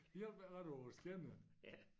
Hjælper ikke ret på æ skinner